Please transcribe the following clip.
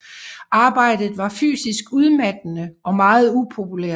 Arbejdet var fysisk udmattende og meget upopulært